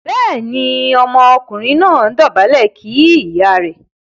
béèni Ọmọkùnrin náà dobale kí ìyá rẹ̀.